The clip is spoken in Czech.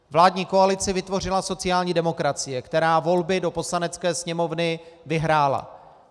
Vládní koalici vytvořila sociální demokracie, která volby do Poslanecké sněmovny vyhrála.